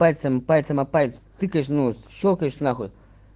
пальцем пальцем о палец тыкаешь ну щёлкаешь нахуй